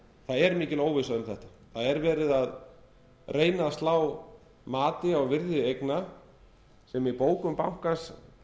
er mikil óvissa um þetta það er verið að reyna að slá mati á virði eigna sem í bókum bankans